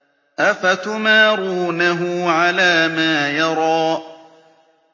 أَفَتُمَارُونَهُ عَلَىٰ مَا يَرَىٰ